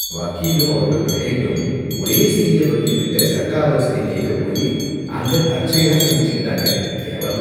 வக்கீலும் அவரோட கிளையண்டும் ஒரே சீனியர் வக்கீல் கிட்ட சட்ட ஆலோசனை கேக்கப் போயி அங்க தற்செயலா சந்திச்சுக்கிட்டாங்க. கேவலம்!